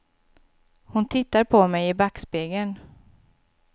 Hon tittar på mig i backspegeln.